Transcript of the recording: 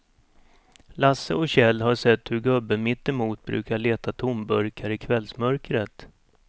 Lasse och Kjell har sett hur gubben mittemot brukar leta tomburkar i kvällsmörkret.